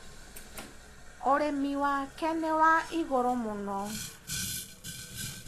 ũrĩmi wake nĩ wa igũrũ mũno.